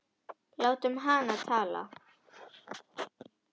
Látum hana tala.